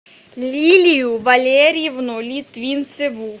лилию валерьевну литвинцеву